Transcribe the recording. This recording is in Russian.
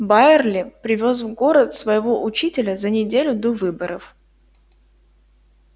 байерли привёз в город своего учителя за неделю до выборов